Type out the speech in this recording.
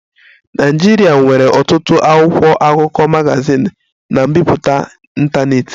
Nigeria nwere ọtụtụ akwụkwọ akụkọ, magazin na mbipụta ntanetị